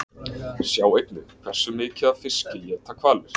Sjá einnig: Hversu mikið af fiski éta hvalir?